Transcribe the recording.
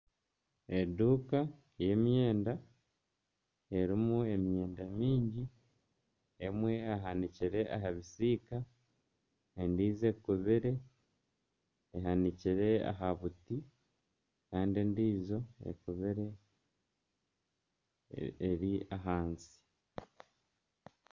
Eduuka y'emyenda erimu eduuka emyenda mingi , emwe ehanikire aha bisiika, endiijo ekubire ehakire aha buti kandi endiijo ekubire eri ahansi